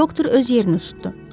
Doktor öz yerini tutdu.